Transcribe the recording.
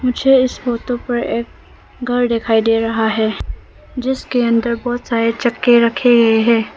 मुझे इस फोटो पर एक घर दिखाई दे रहा है जिसके अंदर बहोत सारे चक्के रखे गए हैं।